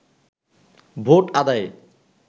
vote আদায়ে